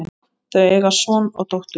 Þau eiga son og dóttur.